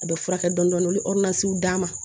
A bɛ furakɛ dɔni u bɛ d'a ma